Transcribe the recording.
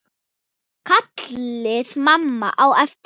kallaði mamma á eftir mér.